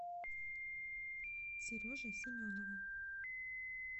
сереже семенову